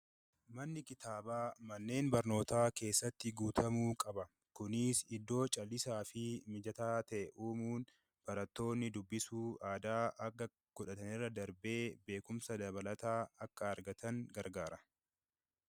Manni kitaabaa, manneen barnootaa keessatti guutamuu qaba. Kunis iddoo callisaa fi mijataa ta'ee, barattoonni dubbisuu aadaa akka godhatanirra darbee beekumsa akka horataniif gargaara.